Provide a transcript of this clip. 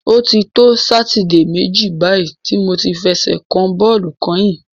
O ti to Sátidé méjì báyìí tí mo ti fẹsẹ̀ kan bọ́ọ̀lù kányìn.